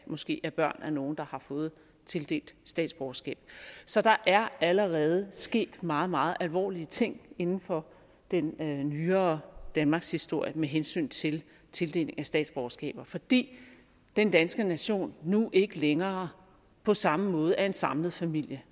måske er børn af nogle der har fået tildelt statsborgerskab så der er allerede sket meget meget alvorlige ting inden for den nyere danmarkshistorie med hensyn til tildeling af statsborgerskaber fordi den danske nation nu ikke længere på samme måde er en samlet familie